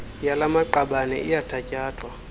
yala maqabane iyathatyathwa